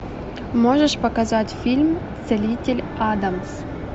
можешь показать фильм целитель адамс